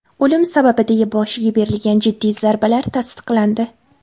O‘lim sababi deya boshiga berilgan jiddiy zarbalar tasdiqlandi.